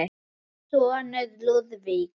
Þinn sonur, Lúðvík.